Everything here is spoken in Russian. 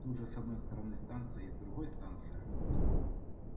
тут же с одной стороны станция и с другой станция